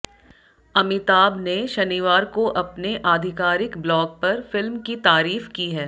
अमिताभ ने शनिवार को अपने आधिकारिक ब्लॉग पर फिल्म की तारीफ की है